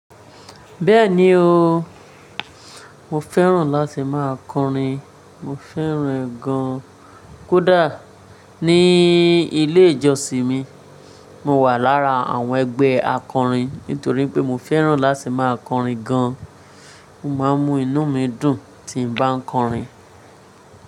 Bẹ́ẹ̀ni o, mo fẹ́ràn láti máa kọrin. Mo fẹ́ràn ẹ̀ gan. Kódà ní ilé ìjọsìn mi, mo wà lára àwọn ẹgbẹ́ akọrin nítorí pé mo fẹ́ràn láti máa kọrin gan. Mo máa ń mu inú mi dùn tí n bá ń kọrin.